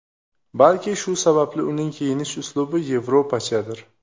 Balki shu sababli uning kiyinish uslubi yevropachadir.